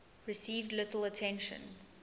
received little attention